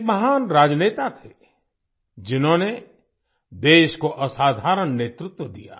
वे एक महान राजनेता थे जिन्होनें देश को असाधारण नेतृत्व दिया